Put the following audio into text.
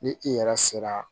Ni i yɛrɛ sera